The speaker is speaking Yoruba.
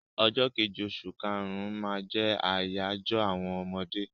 Ọjọ́ kejì oṣù kàrún-ún máa jẹ́ àyájọ́ àwọn ọmọdé.